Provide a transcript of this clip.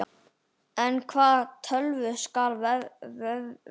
En hvaða tölvu skal velja?